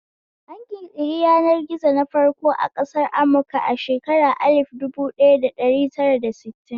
An ƙirƙiri yanar gizo na farko a ƙasar amurka a shekarun alif dubu ɗaya da dari tara da sittin.